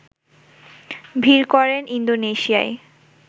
ভিড় করেন ইন্দোনেশিয়ায়